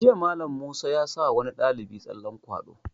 Jiya Mallam Musa ya sa wani ɗalibi tsallen kwaɗo